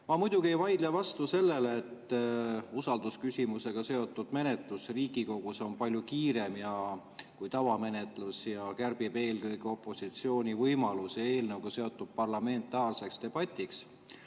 Ma muidugi ei vaidle vastu sellele, et usaldusküsimusega seotud menetlus Riigikogus on palju kiirem kui tavamenetlus ja kärbib eelkõige opositsiooni võimalusi eelnõuga seotud parlamentaarseks debatiks.